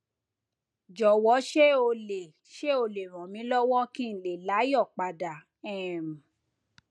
jọwọ ṣé o lè ṣé o lè ràn mí lọwọ kí n lè láyọ padà um